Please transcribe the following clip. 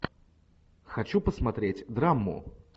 хочу посмотреть драму